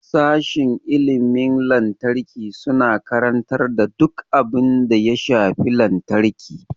Sashin injiniyan lantarki suna karantar duk abin da ya shafi lantarki.